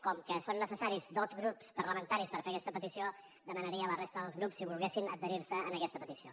com que són necessaris dos grups parlamentaris per fer aquesta petició demanaria a la resta dels grups si volguessin adherir se a aquesta petició